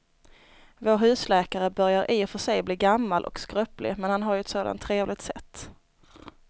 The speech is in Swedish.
Vår husläkare börjar i och för sig bli gammal och skröplig, men han har ju ett sådant trevligt sätt!